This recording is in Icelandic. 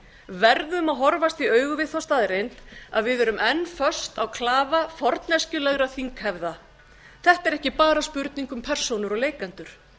verðum að horfast í augu við þá staðreynd að við erum enn föst á klafa forneskjulegra þinghefða þetta er ekki bara spurning um persónur og leikendur